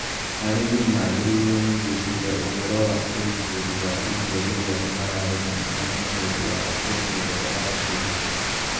Arĩmi magĩrĩirũo nĩ gwĩciria ũhoro wa ũgitĩri wa irio rĩrĩa mararĩma nyanya nĩũndu wa kũendia nja wa bũrũri.